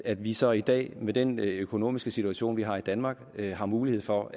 at vi så i dag med den økonomiske situation vi har i danmark har mulighed for